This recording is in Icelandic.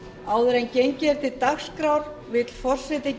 áður en gengið er til dagskrár vill forseti